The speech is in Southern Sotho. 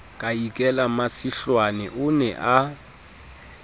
ka ikela masihlwane o nea